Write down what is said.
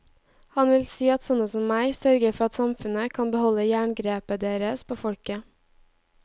Han vil si at sånne som meg sørger for at samfunnet kan beholde jerngrepet deres på folket.